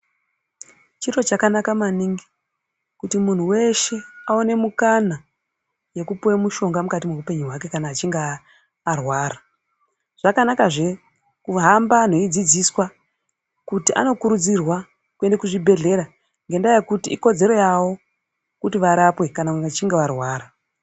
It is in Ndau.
Chiro chakanaka maningi kuti munhu weshe aone mukana yeku piwe mushonga mukati mehwu penyu hwake kana achinge arwara zvakanaka zve kuhamba anhu eidzidziswa kuti anokurudzirwa kuende kuzvi bhehlera ngenda yekuti ikodzero yavo kuti varapwe kana vachinge varwara.